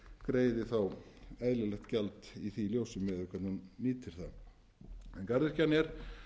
greiði þá eðlilegt gjald í því ljósi miðað við hvernig hún nýtir það garðyrkjan er